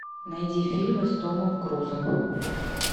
найди фильмы с томом крузом